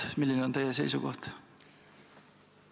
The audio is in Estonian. Milline on teie seisukoht?